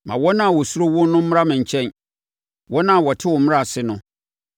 Ma wɔn a wɔsuro wo no mmra me nkyɛn, wɔn a wɔte wo mmara ase no.